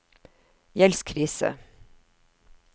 gjeldskrise